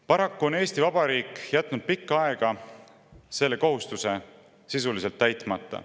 Paraku on Eesti Vabariik jätnud pikka aega selle kohustuse sisuliselt täitmata.